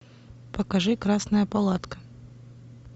покажи красная палатка